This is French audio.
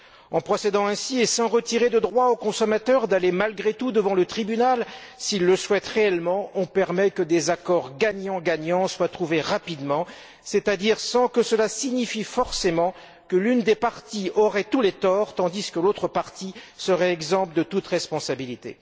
En procédant ainsi, et sans retirer au consommateur le droit d'aller malgré tout devant le tribunal s'il le souhaite réellement, on permet que des accords gagnant gagnant soient trouvés rapidement, c'est à dire sans que cela signifie forcément que l'une des parties a tous les torts tandis que l'autre partie est exempte de toute responsabilité.